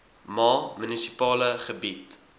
ma munisipale gebied